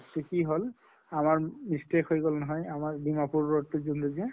তʼ কি হʼল আমাৰ mistake হৈ গʼল নহয় আমাৰ ডিমাপুৰ road তো যোন টো যে